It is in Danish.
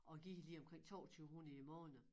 Og giver lige omkring 2200 i æ måned